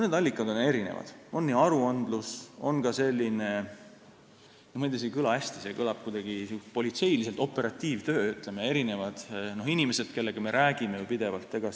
Need allikad on erinevad: on aruandlus, aga ka selline – ma ei tea, see ei kõla hästi, see kõlab kuidagi politseiliselt – operatiivtöö, st meil on inimesed, kellega me pidevalt räägime.